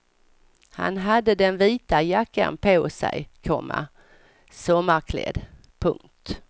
Han hade den vita jackan på sig, komma sommarklädd. punkt